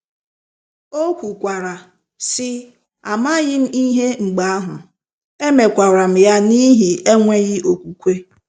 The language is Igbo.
O kwukwara, sị: “ Amaghị m ihe mgbe ahụ, emekwara m ya n’ihi enweghị okwukwe. ”